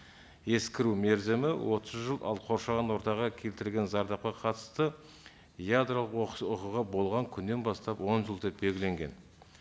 ескіру мерзімі отыз жыл ал қоршаған ортаға келтірген зардапқа қатысты ядролық оқыс оқиға болған күннен бастап он жыл деп белгіленген